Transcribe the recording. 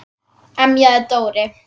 emjaði Dóri.